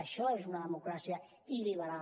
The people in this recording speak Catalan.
això és una democràcia il·liberal